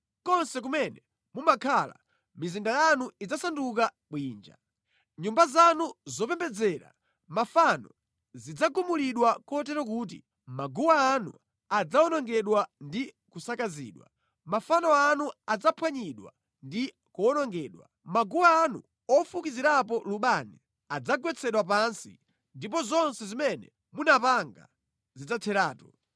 Konse kumene mumakhala, mizinda yanu idzasanduka bwinja. Nyumba zanu zopembedzera mafano zidzagumulidwa kotero kuti maguwa anu adzawonongedwa ndi kusakazidwa, mafano anu adzaphwanyidwa ndi kuwonongedwa. Maguwa anu ofukizirapo lubani adzagwetsedwa pansi ndipo zonse zimene munapanga zidzatheratu.